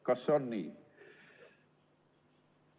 Kas see on nii?